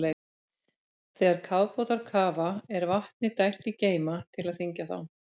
Þegar kafbátar kafa er vatni dælt í geyma til að þyngja þá.